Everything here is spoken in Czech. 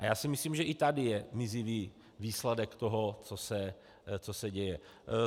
A já si myslím, že i tady je mizivý výsledek toho, co se děje.